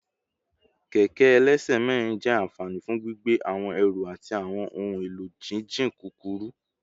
Kẹkẹ ẹlẹsẹ mẹrin jẹ anfani fun gbigbe awọn ẹru ati awọn ohun elo jijin kukuru